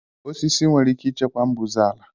Osisi nwere ike ịchịkwa mbuze ala